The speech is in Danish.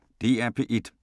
DR P1